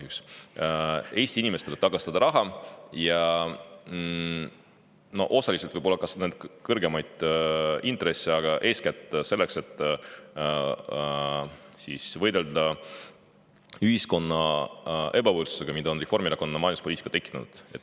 Eesti inimestele tagastada raha, osaliselt võib-olla ka kõrgemaid intresse, aga seda kõike eeskätt selleks, et võidelda ühiskonnas ebavõrdsusega, mille on tekitanud Reformierakonna majanduspoliitika.